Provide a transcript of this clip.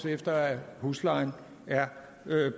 efter at huslejen er